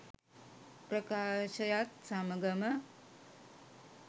ප්‍රකාශයත් සමඟම